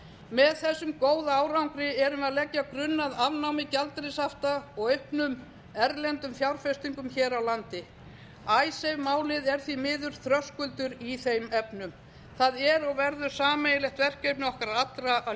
með þessum góða árangri erum við að leggja grunn að afnámi gjaldeyrishafta og auknum erlendum fjárfestingum hér á landi icesave málið er því miður þröskuldur í þeim efnum það er og verður sameiginlegt verkefni okkar allra